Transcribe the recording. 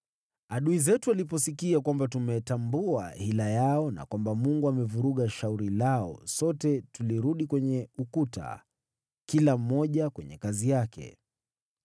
Adui zetu waliposikia kwamba tumetambua hila yao, na kwamba Mungu amevuruga shauri lao, sote tulirudi kwenye ukuta, kila mmoja kwenye kazi yake.